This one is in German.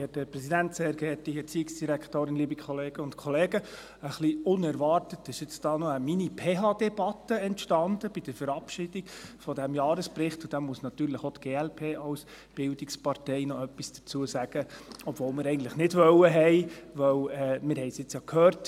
Ein bisschen unerwartet ist jetzt hier eine Mini-PHDebatte bei der Verabschiedung dieses Jahresberichts entstanden, und da muss natürlich auch die glp als Bildungspartei noch etwas dazu sagen, obwohl wir dies eigentlich nicht tun wollten, denn wir haben es ja jetzt gehört: